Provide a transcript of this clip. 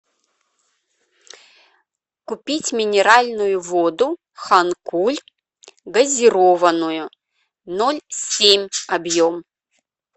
купить минеральную воду ханкуль газированную ноль семь объем